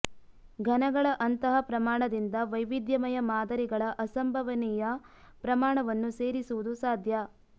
ಘನಗಳ ಅಂತಹ ಪ್ರಮಾಣದಿಂದ ವೈವಿಧ್ಯಮಯ ಮಾದರಿಗಳ ಅಸಂಭವನೀಯ ಪ್ರಮಾಣವನ್ನು ಸೇರಿಸುವುದು ಸಾಧ್ಯ